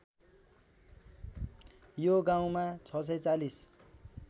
यो गाउँमा ६४०